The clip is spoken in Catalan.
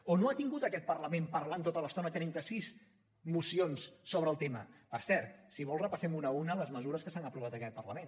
o no ha tingut aquest parlament parlant tota l’estona trenta sis mocions sobre el tema per cert si vol repassem una a una les mesures que s’han aprovat en aquest parlament